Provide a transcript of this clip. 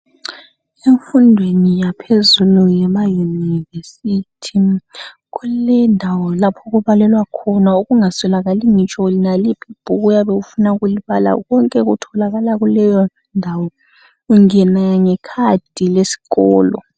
Emfundweni yaphezulu emayunivesithi kulendawo lapho okubalelwa khona okungaswelakali loba yiliphi ibhuku. Ungena ngekhadi lesikolo.